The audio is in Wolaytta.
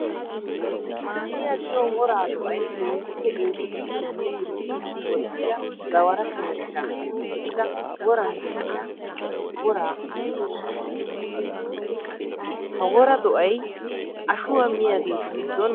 Maahiya giyo wora do'ay keehippe eesotiddinne dirbbiddi woxxiya gawara sheeshsha gididda woran de'iyan wora medosa. Ha wora do'ay ashuwa miyaagettu gidon moodetes.